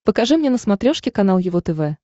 покажи мне на смотрешке канал его тв